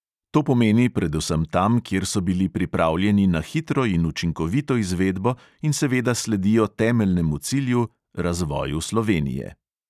To pomeni predvsem tam, kjer so bili pripravljeni na hitro in učinkovito izvedbo in seveda sledijo temeljnemu cilju – razvoju slovenije.